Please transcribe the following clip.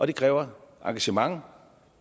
det kræver engagement